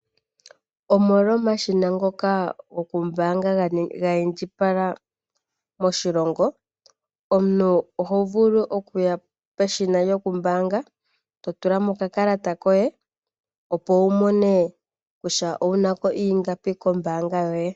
Omolwa omashina ngoka goku mbaanga ga indjipala moshilongo, omuntu oho vulu okuya peshina lyoku mbaanga to tula mo oka kalata koye, opo wu mone kutya pwu nako ingapi kombaanga yoye.